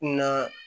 Kunna